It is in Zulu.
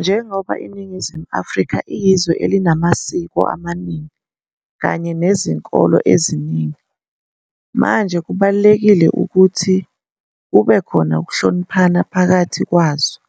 Njengoba IiNingizimu Afrika iyizwe elinamasiko amaningi kanye nezinkolo eziningi manje kubalulekile ukuthi kube khona ukuhloniphana pakathi kwazao